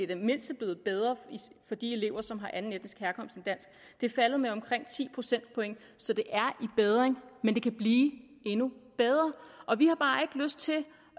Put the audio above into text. det mindste blevet bedre for de elever som har anden etnisk herkomst end dansk det er faldet med omkring ti procentpoint så det er i bedring men det kan blive endnu bedre vi har bare ikke lyst til